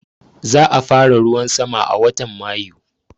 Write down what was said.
Za a fara ruwan sama a watan Mayu